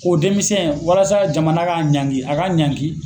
O denmisɛnw walasa jamana ka ɲanki a ka ɲanki